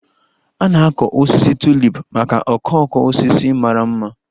A na-akọ osisi Tulip maka okooko osisi mara mma